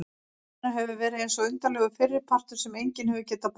Líf hennar hefur verið eins og undarlegur fyrripartur sem enginn hefur getað botnað.